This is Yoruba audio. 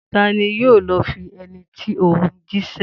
Ta ni yóò lọ fi ẹní tí o hùn jíṣẹ́?